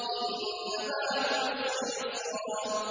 إِنَّ مَعَ الْعُسْرِ يُسْرًا